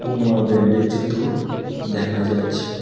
Puma ব্র্যান্ডের জুতো দেখা যাচ্ছে।